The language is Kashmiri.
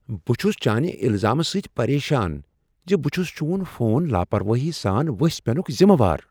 بہٕ چھس چانہ الزامہٕ سۭتۍ پریشان ز بہٕ چھس چون فون لاپروٲیی سان ؤسۍ پینُک ذمہ وار۔